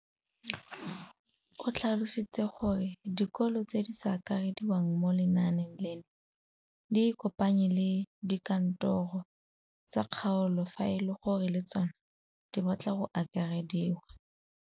O tlhalositse gore dikolo tse di sa akarediwang mo lenaaneng leno di ikopanye le dikantoro tsa kgaolo fa e le gore le tsona di batla go akarediwa.